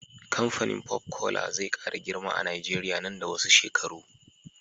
Kamfanin pop cola zai kara girma a nigeria nan da wasu shekaru